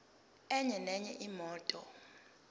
enye nenye imoto